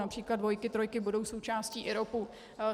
Například dvojky, trojky budou součástí IROP.